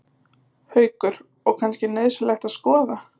Haukur: Og kannski nauðsynlegt að skoða?